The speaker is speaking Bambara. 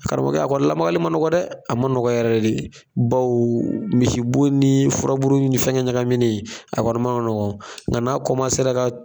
Karamɔgɔkɛ a kɔni lamagali ma nɔgɔ dɛ a ma nɔgɔ yɛrɛ yɛrɛ de bawo misibo ni furaburuni ni fɛngɛ ɲagaminen a kɔni ma nɔgɔ nka n'a ka